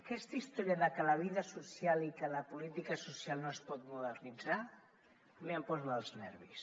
aquesta història de que la vida social i que la política social no es pot modernitzar a mi em posa dels nervis